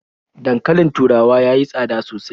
Dankalin taurawa ya yi tsada sosai.